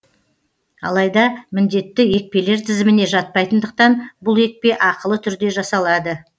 алайда міндетті екпелер тізіміне жатпайтындықтан бұл екпе ақылы түрде жасалады